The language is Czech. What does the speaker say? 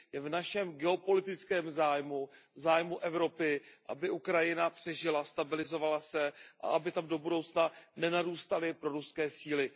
Je v našem geopolitickém zájmu, zájmu Evropy, aby Ukrajina přežila, stabilizovala se a aby tam do budoucna nenarůstaly proruské síly.